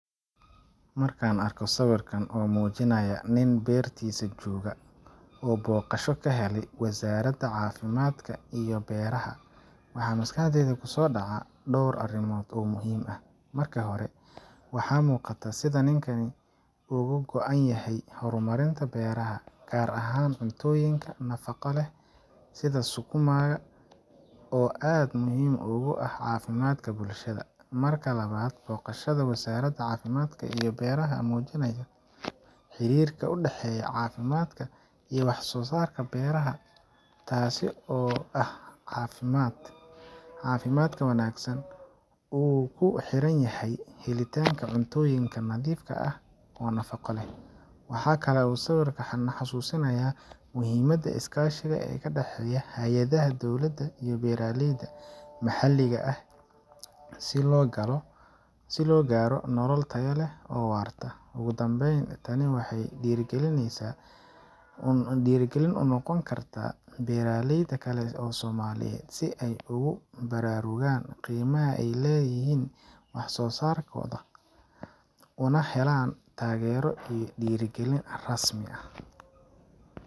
Markaan arko sawirkan oo muujinaya nin beertiisa jooga, oo booqasho ka helay Wasaaradda Caafimaadka iyo beeraha, waxa maskaxdayda kusoo dhaca dhowr arrimood oo muhiim ah. Marka hore, waxaa muuqata sida ninkani uga go’an yahay horumarinta beeraha, gaar ahaan cuntooyinka nafaqo leh sida sukuma ga oo aad muhiim ugu ah caafimaadka bulshada. Marka labaad, booqashada Wasaaradda Caafimaadka iyo beeraha waxay muujinaysaa xiriirka u dhexeeya caafimaadka iyo wax soo saarka beeraha taasi oo ah in caafimaadka wanaagsan uu ku xiran yahay helitaanka cuntooyin nadiifka ah oo nafaqo leh. Waxa kale oo sawirku na xasuusinayaa muhiimada iskaashiga u dhexeeya hay’adaha dowladda iyo beeraleyda maxalliga ah si loo gaaro nolol tayo leh oo waarta. Ugu dambayn, tani waxay dhiirrigelin u noqon kartaa beeraleyda kale ee Soomaaliyeed si ay ugu baraarugaan qiimaha ay leeyihiin wax soo saarkooda, una helaan taageero iyo dhiirrigelin rasmi ah.